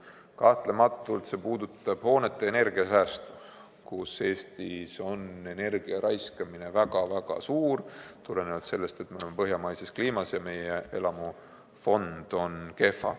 Kahtlemata puudutab see hoonete energiasäästu: Eestis on energia raiskamine väga-väga suur selle tõttu, et me oleme põhjamaises kliimas ja meie elamufond on kehva.